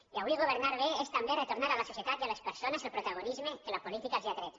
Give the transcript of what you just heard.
i avui governar bé és també retornar a la societat i a les persones el protago·nisme que la política els ha tret